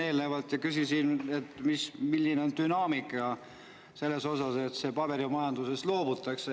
Eelnevalt küsisin, milline on dünaamika selles osas, et paberimajandusest loobutakse.